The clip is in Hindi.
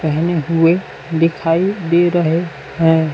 पहने हुए दिखाई दे रहे हैं।